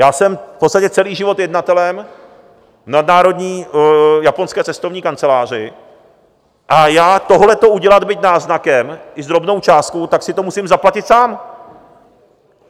Já jsem v podstatě celý život jednatelem v nadnárodní japonské cestovní kanceláři a já tohleto udělat, byť náznakem, i s drobnou částkou, tak si to musím zaplatit sám.